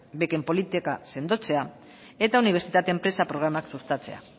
beken politika sendotzea eta unibertsitate enpresa programak sustatzea